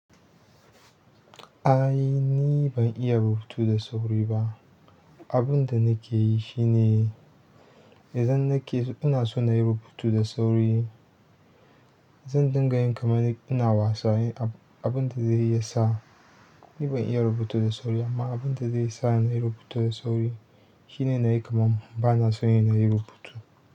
Ai ni ban iya rubutu da sauri ba. Abin da nake yi shi ne idan nake ina so na yi rubutu da sauri, zan dinga yin kamar ina wasa. Abinda zai iya sa, ni ban iya rubutu da sauri amma abin da zai sa na yi rubutu da sauri shine na yi kaman bana so na yi rubutu.